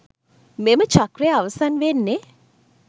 මෙම චක්‍රය අවසන් වෙන්නෙ